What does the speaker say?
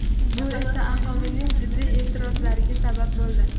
Bu esa aholining jiddiy e’tirozlariga sabab bo‘ldi.